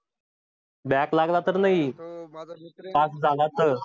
back लागला तर नाही pass झाला तर.